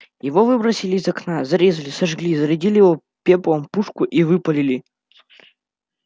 его выбросили из окна зарезали сожгли зарядили его пеплом пушку и выпалили